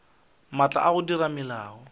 maatla a go dira melao